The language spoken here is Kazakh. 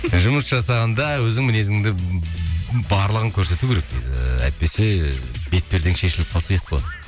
жұмыс жасағанда өзің мінезіңді барлығын көрсету керек дейді әйтпесе бет пердең шешіліп қалса ұят болады